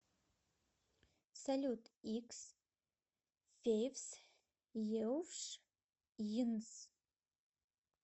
салют х февс еуфш йнс